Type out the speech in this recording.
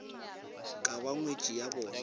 ka ba ngwetši ya bona